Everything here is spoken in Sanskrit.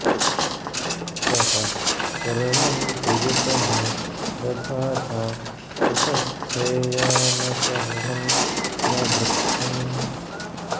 तव॒ शर्म॑न्प्रि॒यत॑मे॒ दधा॑ना॒ उप॑ स्थेयाम शर॒णं न वृ॒क्षम्